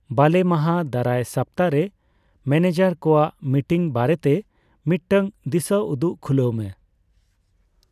ᱵᱟᱞᱮ ᱢᱟᱦᱟ ᱫᱟᱨᱟᱭ ᱥᱟᱯᱛᱟ ᱨᱮ ᱢᱮᱱᱮᱡᱟᱨ ᱠᱚᱣᱟᱜ ᱢᱤᱴᱤᱝ ᱵᱟᱨᱮᱛᱮ ᱢᱤᱫᱴᱟᱝ ᱫᱤᱥᱟᱹᱩᱫᱩᱜ ᱠᱷᱩᱞᱟᱹᱣ ᱢᱮ